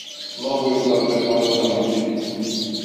новое простоквашино мультики